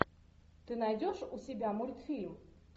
ты найдешь у себя мультфильм